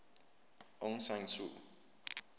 aung san suu